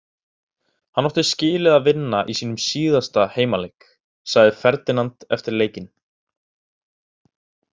Hann átti skilið að vinna í sínum síðasta heimaleik, sagði Ferdinand eftir leikinn.